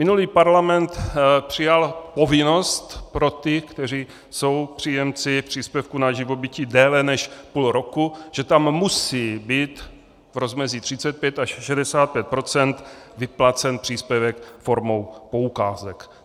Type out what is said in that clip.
Minulý parlament přijal povinnost pro ty, kteří jsou příjemci příspěvku na živobytí déle než půl roku, že tam musí být v rozmezí 35 až 65 % vyplacen příspěvek formou poukázek.